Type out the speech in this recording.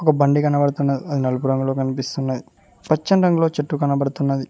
ఒక బండి కనబడుతున్నది అది నలుపు రంగులో కనిపిస్తున్నది పచ్చని రంగులో చెట్టు కనబడుతున్నది.